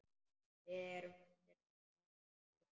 Við erum undir allt búin.